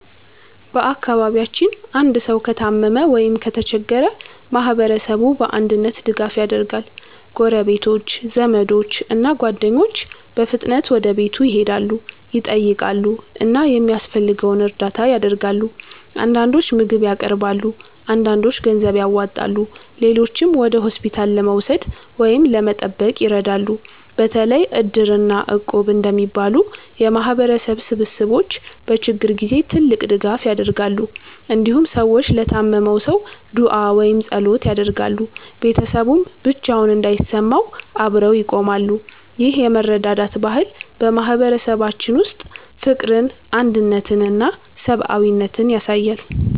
በአካባቢያችን አንድ ሰው ከታመመ ወይም ከተቸገረ ማህበረሰቡ በአንድነት ድጋፍ ያደርጋል። ጎረቤቶች፣ ዘመዶች እና ጓደኞች በፍጥነት ወደ ቤቱ ይሄዳሉ፣ ይጠይቃሉ እና የሚያስፈልገውን እርዳታ ያደርጋሉ። አንዳንዶች ምግብ ያቀርባሉ፣ አንዳንዶች ገንዘብ ያዋጣሉ፣ ሌሎችም ወደ ሆስፒታል ለመውሰድ ወይም ለመጠበቅ ይረዳሉ። በተለይ Iddir እና Equb እንደሚባሉ የማህበረሰብ ስብስቦች በችግር ጊዜ ትልቅ ድጋፍ ያደርጋሉ። እንዲሁም ሰዎች ለታመመው ሰው ዱዓ ወይም ጸሎት ያደርጋሉ፣ ቤተሰቡም ብቻውን እንዳይሰማው አብረው ይቆማሉ። ይህ የመረዳዳት ባህል በማህበረሰባችን ውስጥ ፍቅርን፣ አንድነትን እና ሰብአዊነትን ያሳያል።